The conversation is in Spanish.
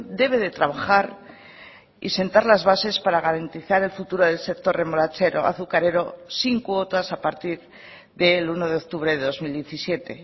debe de trabajar y sentar las bases para garantizar el futuro del sector remolachero azucarero sin cuotas a partir del uno de octubre de dos mil diecisiete